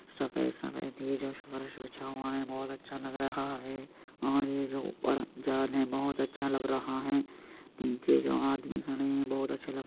सफेद सफेद ये जो फर्श बिछा हुआ है बहुत अच्छा लग रहा है और ये जो ऊपर जाने बहुत अच्छा लग रहा है नीचे जो आदमी खड़े हैं बहुत अच्छे लग --